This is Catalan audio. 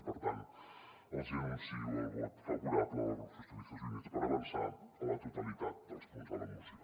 i per tant els hi anuncio el vot favorable del grup socialistes i units per avançar a la totalitat dels punts de la moció